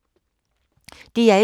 DR1